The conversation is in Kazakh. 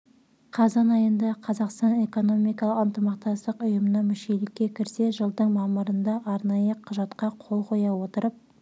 қазан айында қазақстан экономикалық ынтымақтастық ұйымына мүшелікке кірсе жылдың мамырында арнайы құжатқа қол қоя отырып